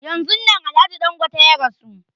Yanzun nan alhaji Dangote ya rasu